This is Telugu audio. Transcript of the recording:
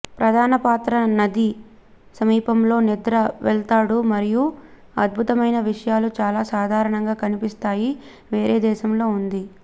ప్రధాన పాత్ర నది సమీపంలో నిద్ర వెళ్తాడు మరియు అద్భుతమైన విషయాలు చాలా సాధారణంగా కనిపిస్తాయి వేరే దేశంలో ఉంది